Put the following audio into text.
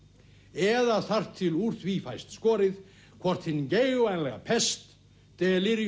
eða þar til úr því fæst skorið hvort hin geigvænlega pest